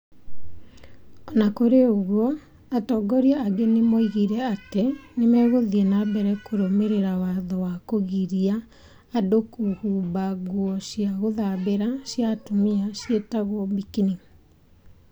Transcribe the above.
O na kũrĩ ũguo, atongori angĩ nĩ moigire atĩ nĩ megũthiĩ na mbere kũrũmĩrĩra watho wa kũgiria andũ kũhumba nguo cia gũthambĩra cia atumia ciĩtagwo burkini.